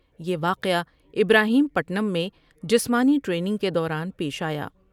یہ واقعہ ابراہیم پٹم میں جسمانی ٹریننگ کے دوران پیش آیا ۔